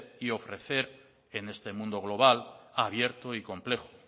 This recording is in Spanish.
y ofrecer en este mundo global abierto y complejo